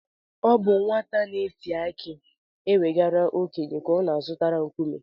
Ọ bụ naanị nwata na-eti aki ewegara okenye ka ọ na-azọtara nkume.